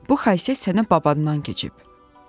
Bu xasiyyət sənə babandan keçib.